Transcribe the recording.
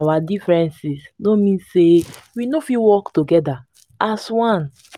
our differences no mean sey we no fit work togeda as one.